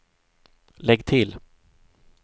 lägg till